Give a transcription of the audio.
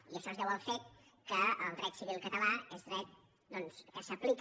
i això es deu al fet que el dret civil català és dret doncs que s’aplica